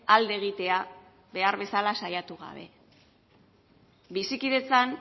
alde egitea behar bezala saiatu gabe bizikidetzan